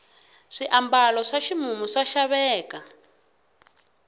swiambalo swa ximumu swa xaveka